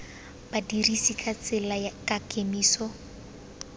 badirisi ba tsela ka kemiso